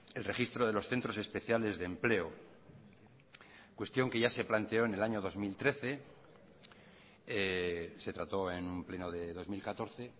el registro de los centros especiales de empleo cuestión que ya se planteó en el año dos mil trece se trató en un pleno de dos mil catorce